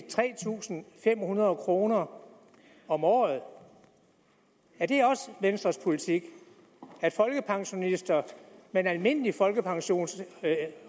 tre tusind fem hundrede kroner om om året er det også venstres politik at folkepensionister med en almindelig folkepension